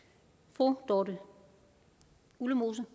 fru dorthe ullemose